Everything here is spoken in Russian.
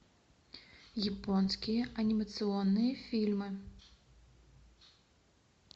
японские анимационные фильмы